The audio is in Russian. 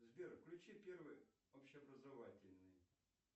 сбер включи первый общеобразовательный